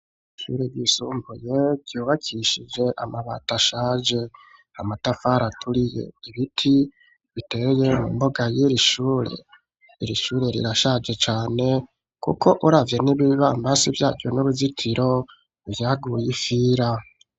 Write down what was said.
Ishure ryisumbuye ryubakishije amabati ashaje, amatafari aturiye, ibiti biteye mu mboga yiri shure. Iri shure rirashaje cane kuko uravye n'ibibambazi vyaryo n'uruzitiro vyaguye ifira.